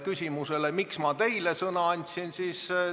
Ja miks ma teile sõna andsin?